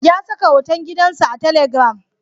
Ya saka hoton gidansa a telegram.